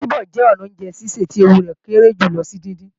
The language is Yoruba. Bíbọ̀ jẹ́ ọnà oúnjẹ sísè tí ewu rẹ̀ kéré jùlọ sí díndín